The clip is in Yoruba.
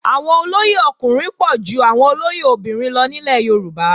Àwọn olóyè ọkùnrin pọ̀ ju àwọn olóyè obìnrin lọ nílẹ̀ Yorùbá